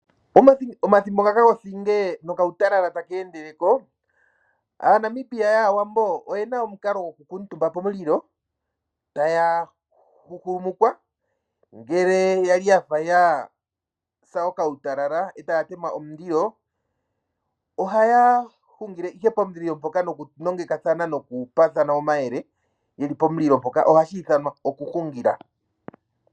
Omathimbo ngaka gothinge nokautalala ta ka endeleko, aaNamibia yaawambo oyena omukala goku kiintumba pomulilo, ta ya huhumukwa ngele kwali yasa okautalala eta ya tema omulilo, oha ya hungile noku nongekathana nokupaathana omayele yeli pomulilo mpoka. Oha shi ithanwa okuhungila